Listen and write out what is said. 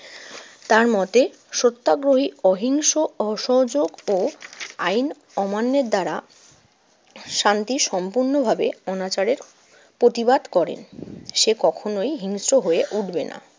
তার মতে, সত্যগ্রহী অহিংস, অসহযোগ ও আইন অমান্যের দ্বারা শান্তি সম্পূর্ণভাবে অনাচারের প্রতিবাদ করেন। সে কখনোই হিংস্র হয়ে উঠবে না।